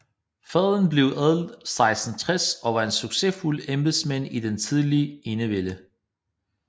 Faderen blev adlet 1660 og var en succesfuld embedsmand i den tidlige enevælde